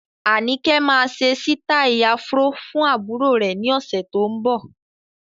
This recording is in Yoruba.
Anike máa ṣe sítai afro fún àbúrò rè ni ọ̀sẹ̀ tó ń bọ̀.